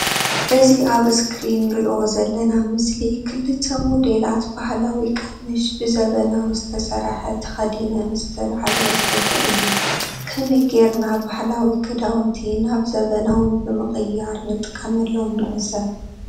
እዚ ኣብ እስክሪን እንሪኦ ዘለና ምስሊ ክልተ ሞዴላት ባህላዊ ቀምሽ ብ ዘመናዊ ዝተሰርሐ ተከዲነን ዝተልዓልኦ ፎቶ እዩ። ከመይ ገይርና ባህላዊ ክዳውንቲ ናብ ዘመናዊ ብምቅያር ንጥቀመሎም ንዕዘብ።